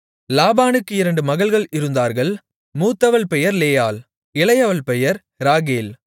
லாபானுக்கு இரண்டு மகள்கள் இருந்தார்கள் மூத்தவள் பெயர் லேயாள் இளையவள் பெயர் ராகேல்